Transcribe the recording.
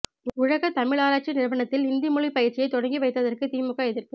உலக தமிழராய்ச்சி நிறுவனத்தில் இந்தி மொழி பயிற்சியை தொடங்கி வைத்ததற்கு திமுக எதிர்ப்பு